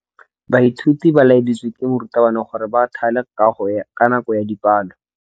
Baithuti ba laeditswe ke morutabana gore ba thale kagô ka nako ya dipalô.